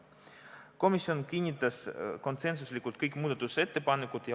Komisjon kinnitas konsensuslikult kõik muudatusettepanekud.